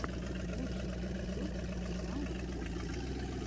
лучший эпизод плейграунд фо кидс